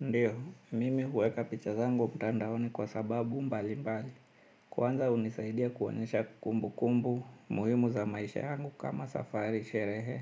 Ndiyo, mimi huweka picha zangu mtandaoni kwa sababu mbalimbali. Kwanza hunisaidia kuonyesha kumbukumbu muhimu za maisha yangu, kama safari, sherehe